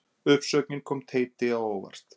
Uppsögnin kom Teiti á óvart